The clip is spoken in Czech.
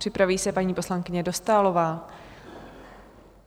Připraví se paní poslankyně Dostálová.